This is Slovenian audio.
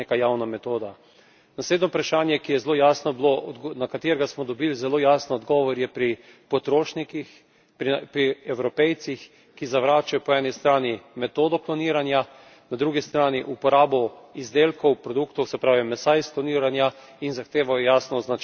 Naslednje vprašanje, ki je zelo jasno bilo, na katerega smo dobili zelo jasen odgovor, je pri potrošnikih, pri Evropejcih, ki zavračajo po eni strani metodo kloniranja, po drugi strani uporabo izdelkov, produktov, se pravi mesa iz kloniranja, in zahtevajo jasno označevanje teh proizvodov.